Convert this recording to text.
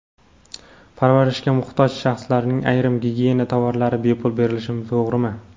parvarishga muhtoj shaxslarga ayrim gigiyena tovarlari bepul berilishi to‘g‘rimi?.